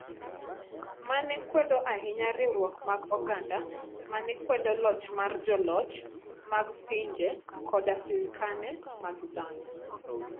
ma ne kwedo ahinya riwruok mar oganda ma ne kwedo loch mar joloch mag pinje koda sirkande mag dhano,